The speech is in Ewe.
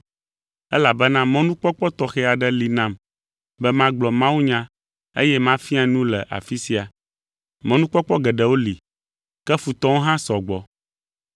elabena mɔnukpɔkpɔ tɔxɛ aɖe li nam be magblɔ mawunya eye mafia nu le afi sia. Mɔnukpɔkpɔ geɖewo li, ke futɔwo hã sɔ gbɔ.